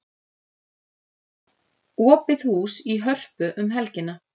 Opið hús í Hörpu um helgina